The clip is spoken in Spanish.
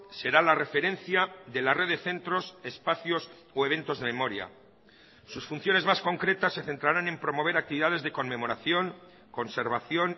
será la referencia de la red de centros espacios o eventos de memoria sus funciones más concretas se centrarán en promover actividades de conmemoración conservación